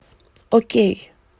окей